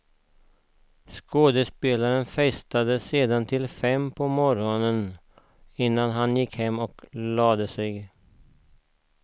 Skådespelaren festade sedan till fem på morgonen innan han gick och lade sig.